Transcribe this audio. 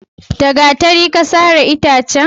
da gatari Ka sare itace?